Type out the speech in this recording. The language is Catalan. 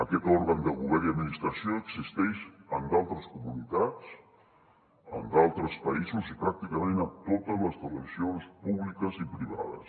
aquest òrgan de govern i administració existeix en altres comunitats en altres països i pràcticament a totes les televisions públiques i privades